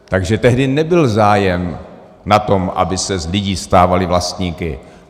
Takže tehdy nebyl zájem na tom, aby se z lidí stávali vlastníci.